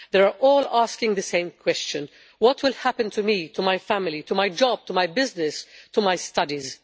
They are all asking the same question what will happen to me, to my family, to my job, to my business, to my studies?